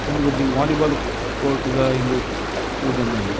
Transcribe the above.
ಇಂದು ಒಂಜಿ volleyball court ದ ಇಂದು ತೋಜೊಂದು ಉಂಡು.